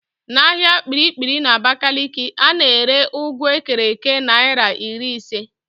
N'ahịa Kpiri-kpiri n'Abakaliki, a na-ere ụgụ ekere èké naịra iri ise